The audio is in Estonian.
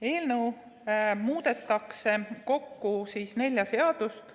Eelnõus muudetakse kokku nelja seadust.